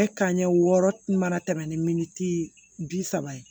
Ɛɛ kanɲɛ wɔɔrɔ mana tɛmɛ ni min bi saba ye